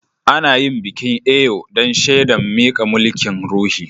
Ana yin bikin Eyo dan shedan mika mulki'n ruhi.